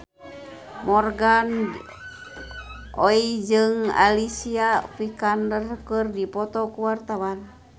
Morgan Oey jeung Alicia Vikander keur dipoto ku wartawan